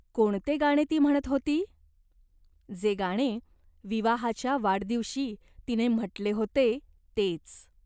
कोणते गाणे ती म्हणत होती ? जे गाणे विवाहाच्या वाढदिवशी तिने म्हटले होते तेच.